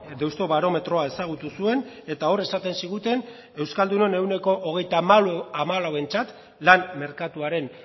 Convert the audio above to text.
deustobarometro ezagutu zuen eta hor esaten ziguten euskaldunon ehuneko hogeita hamalauentzat lan merkatuaren